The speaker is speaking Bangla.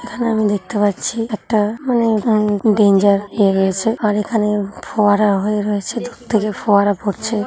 এখানে আমি দেখতে পাচ্ছি একটা ডেঞ্জার হয়ে গেছে আর এখানে ফোয়ারা হয়ে রয়েছে দূর থেকে ফোয়ারা পড়ছে।